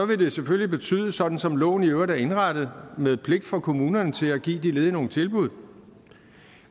det selvfølgelig betyde sådan som loven i øvrigt er indrettet med pligt for kommunerne til at give de ledige nogle tilbud